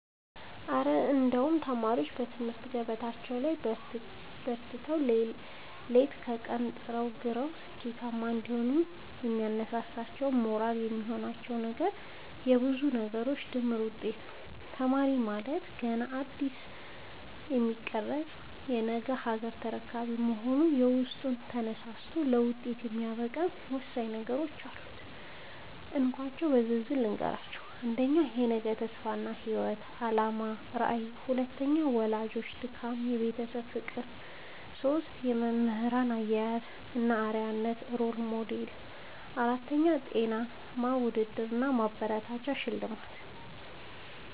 እረ እንደው ተማሪዎች በትምህርት ገበታቸው ላይ በርትተው፣ ሌት ከቀን ጥረውና ግረው ስኬታማ እንዲሆኑ የሚያነሳሳቸውና ሞራል የሚሆናቸው ነገርማ የብዙ ነገሮች ድምር ውጤት ነው! ተማሪ ማለት ገና እንደ አዲስ የሚቀረጽ የነገ ሀገር ተረካቢ በመሆኑ፣ ውስጡን አነሳስቶ ለውጤት የሚያበቃው ወሳኝ ነገሮች አሉ፤ እንካችሁ በዝርዝር ልንገራችሁ - 1. የነገ ተስፋ እና የህይወት አላማ (ራዕይ) 2. የወላጆች ድካምና የቤተሰብ ፍቅር 3. የመምህራን አያያዝ እና አርአያነት (Role Model) 4. ጤናማ ውድድር እና ማበረታቻ (ሽልማት)